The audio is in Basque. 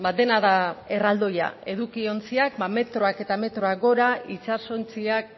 dena da erraldoia edukiontziak metroak eta metroak gora itsasontziak